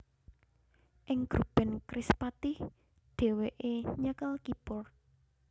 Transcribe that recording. Ing grup band Krispatih dhèwèké nyekel keyboard